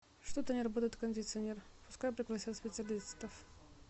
что то не работает кондиционер пускай пригласят специалистов